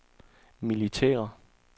militære